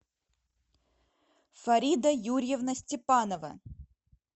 фарида юрьевна степанова